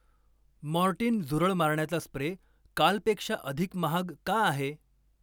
Mortein झुरळ मारण्याचा spray कालपेक्षा अधिक महाग का आहे?